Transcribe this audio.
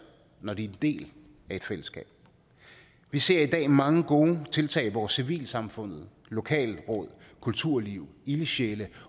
når de er del af et fællesskab vi ser i dag mange gode tiltag hvor civilsamfundet lokalråd kulturliv ildsjæle